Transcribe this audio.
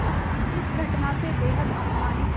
इस घटना से बेहद अपमानित